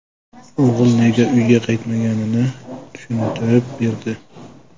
O‘g‘il nega uyga qaytmaganini tushuntirib berdi.